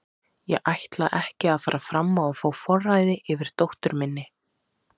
Ég ætla ekki að fara fram á að fá forræðið yfir dóttur minni.